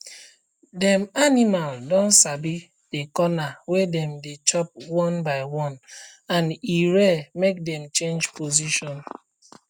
dem animal don sabi the corner wey dem dey chop one by one and e rare make dem change position